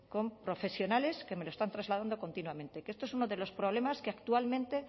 con profesionales que me lo están trasladando continuamente que este es uno de los problemas que actualmente